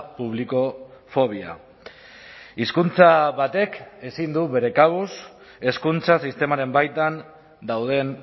publikofobia hizkuntza batek ezin du bere kabuz hezkuntza sistemaren baitan dauden